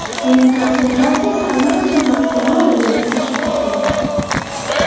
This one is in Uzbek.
Uning konsentratsiyasi allaqachon maksimal darajadan oshib ketgan.